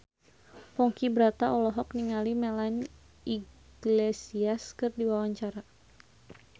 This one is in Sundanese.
Ponky Brata olohok ningali Melanie Iglesias keur diwawancara